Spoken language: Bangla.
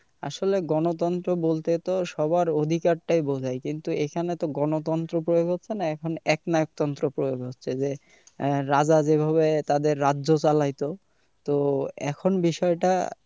আসলে গণতন্ত্র বলতে তো সবার অধিকারটাই বোঝায় কিন্তু এখানে তো গণতন্ত্র প্রয়োগ হচ্ছে না একনায়কতন্ত্র প্রয়োগ হচ্ছে যে আহ রাজা যেভাবে তাদের রাজ্য চালাইতো তো এখন বিষয়টা,